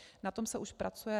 Na tom se už pracuje.